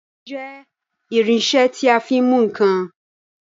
Ẹ̀mú jẹ́ irinṣẹ́ tí a fi ń mú ǹkan.